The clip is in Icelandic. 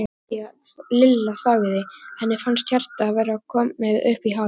Lilla þagði, henni fannst hjartað vera komið upp í háls.